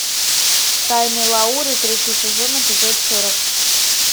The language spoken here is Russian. тайны лауры третий сезон эпизод сорок